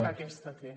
que aquesta té